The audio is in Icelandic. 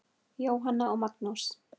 Jóhanna og Magnús.